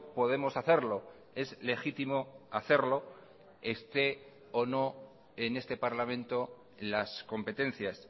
podemos hacerlo es legítimo hacerlo esté o no en este parlamento las competencias